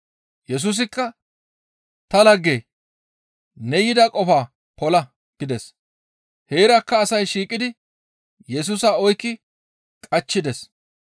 Yesusikka, «Ta laggee! Ne yida qofaa pola» gides. Heerakka asay shiiqidi Yesusa oykki qachchides.